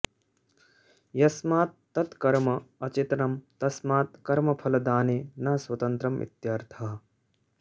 यस्मात् तत् कर्म अचेतनं तस्मात् कर्मफलदाने न स्वतन्त्रं इत्यर्थः